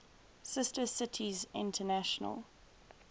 sister cities international